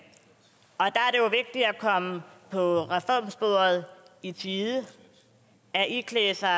komme på reformsporet i tide at iklæde sig